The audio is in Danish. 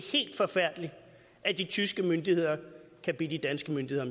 helt forfærdeligt at de tyske myndigheder kan bede de danske myndigheder